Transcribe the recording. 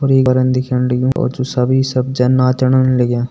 दिखण लग्युं और जु सब ही सब जन नाचण लग्यां।